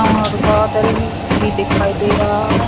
और बादल भी दिखाई दे रहा है।